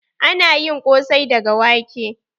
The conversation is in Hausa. Ana yin ƙosai daga wake.